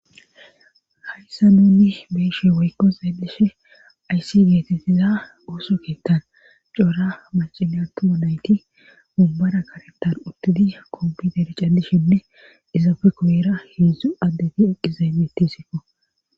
hayssa nuni beeshe woykko xaeleshe ayssi geetettiza ooso keettan coora macine atuoma nayti mumbara karetan uttidi kompiter cadishinne izaafe koyira heedzdzu addedi eqizaybetisikko